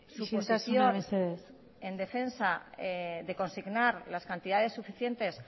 isiltasuna mesedez su posición en defensa de consignar las cantidades suficientes